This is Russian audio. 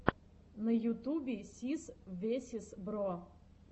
на ютубе сис весиз бро